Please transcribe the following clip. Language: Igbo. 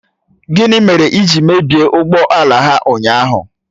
Gịnị mere ị ji mebie ụgbọ ala ha ụnyahụ?